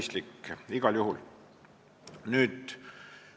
See on igal juhul mõistlik.